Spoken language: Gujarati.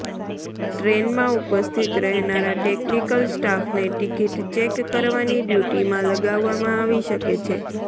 ટ્રેનમાં ઉપસ્થિત રહેનારા ટેકનિકલ સ્ટાફને ટિકિટ ચેક કરવાની ડ્યૂટીમાં લગાવામાં આવી શકે છે